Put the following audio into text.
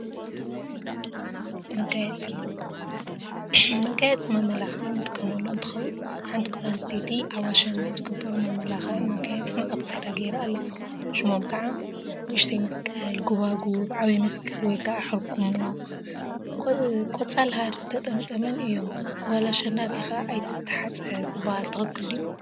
መጋየፂ መጋየፂ መመላክዒ እንጥቀመሉ እንትኸውን፤ ሓንቲ ጓል አንስተይቲ አብ አሸንዳ ዝግበሩ መመላክዒን መጋየፂን አብ ክሳዳ ገይራ አላ፡፡ ሽሞም ከዓ ንእሽተይ መስቀል፣ ጎባጉብ፣ ዓብይ መስቀል/ሕርኩሞ/ን ቆፃል ሃሪ ዝተጠምጠመን እዮም፡፡ ጓል አሸንዳ ሪኢካ አይትተሓፀ ዝበሃል ትክክል ድዩ?